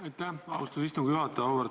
Aitäh, austatud istungi juhataja!